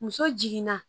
Muso jiginna